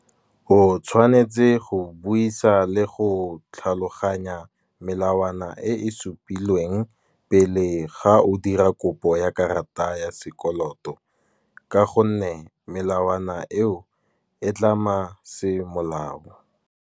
O tshwanetse go buisa le go tlhaloganya melawana e e supilweng, pele ga o dira kopo ya karata ya sekoloto. Ka gonne melawana eo e tlama semolao.